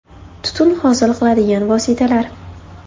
Tutun hosil qiladigan vositalar.